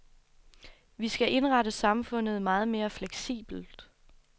Vi skal indrette samfundet meget mere fleksibelt.